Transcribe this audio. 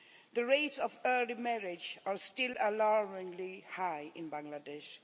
The rates of early marriage are still alarmingly high in Bangladesh.